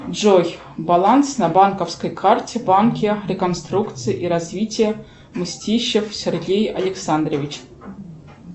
джой баланс на банковской карте в банке реконструкции и развития мстищев сергей александрович